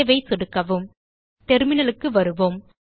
Saveல் சொடுக்கவும் terminalக்கு வருவோம்